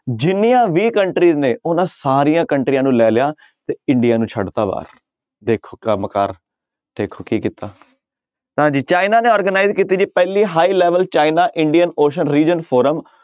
ਜਿੰਨੀਆਂ ਵੀ country ਨੇ ਉਹਨਾਂ ਸਾਰੀਆਂ ਕੰਟਰੀਆਂ ਨੂੰ ਲੈ ਲਿਆ ਤੇ ਇੰਡੀਆ ਨੂੰ ਛੱਡ ਦਿੱਤਾ ਬਾਹਰ ਦੇਖੋ ਕੰਮ ਕਾਰ ਦੇਖੋ ਕੀ ਕੀਤਾ ਤਾਂ ਜੀ ਚਾਈਨਾ ਨੇ organize ਕੀਤੀ ਜੀ ਪਹਿਲੀ high level China Indian ocean region forum